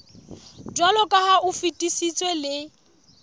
jwaloka ha o fetisitswe le